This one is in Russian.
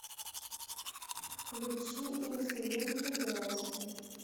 включи инсулинки грязи